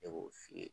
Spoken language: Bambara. Ne b'o f'i ye